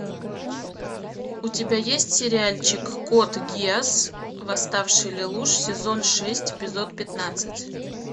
у тебя есть сериальчик код гиас восставший лелуш сезон шесть эпизод пятнадцать